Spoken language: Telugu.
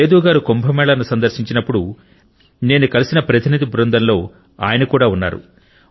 సేదు గారు కుంభ మేళా ను సందర్శించినప్పుడు నేను కలిసిన ప్రతినిధి బృందంలో ఆయన కూడా ఉన్నారు